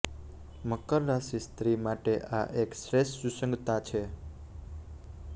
મકર રાશિ સ્ત્રી માટે આ એક શ્રેષ્ઠ સુસંગતતા છે